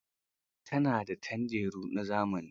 Ta na da tanderu na zamani.